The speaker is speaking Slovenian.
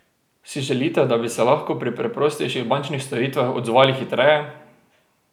Si želite, da bi se lahko pri preprostejših bančnih storitvah odzvali hitreje?